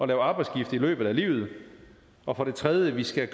lave arbejdsskifte i løbet af livet og for det tredje skal